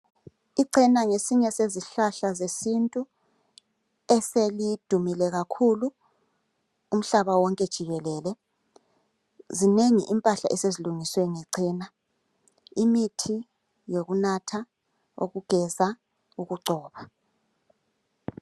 Icena ngesinye sezihlahla zesintu ,eselidumile kakhulu umhlaba wonke jikelele. Zinengi impahla esezilungiswe ngecena ,imithi yokunatha ,yokugeza ukugcoba .